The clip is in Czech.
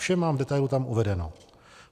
Vše mám v detailu tam uvedeno.